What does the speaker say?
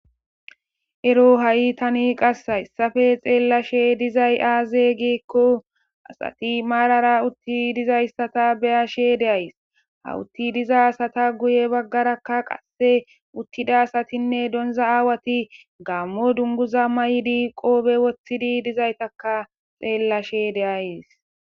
ero ha7i tani qasse hayssafe xeellashe dizay aaze giekko asati maarara utti dizayssata beyashe de ays hawutti diza asata guye baggarakka qasse uttida asatinne donza aawati gammo dunguza may7i di qoobe woththidi dizaytaka xeellashe de7ays